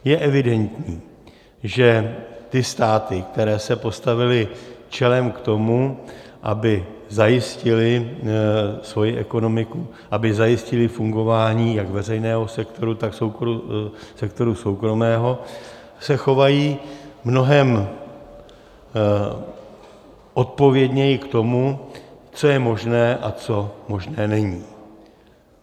Je evidentní, že ty státy, které se postavily čelem k tomu, aby zajistily svoji ekonomiku, aby zajistily fungování jak veřejného sektoru, tak sektoru soukromého, se chovají mnohem odpovědněji k tomu, co je možné a co možné není.